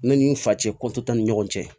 Ne ni n fa cɛ ko t'an ni ɲɔgɔn cɛ